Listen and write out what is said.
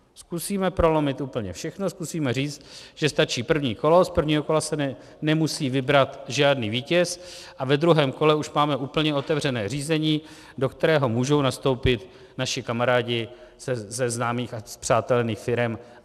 Zkusíme prolomit úplně všechno, zkusíme říct, že stačí první kolo, z prvního kola se nemusí vybrat žádný vítěz, a ve druhém kole už máme úplně otevřené řízení, do kterého můžou nastoupit naši kamarádi ze známých a spřátelených firem.